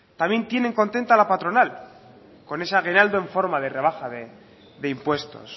también tienen contenta a la patronal con ese aguinaldo en forma de rebaja de impuestos